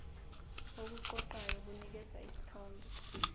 okuqoqayo kunikeza isithombe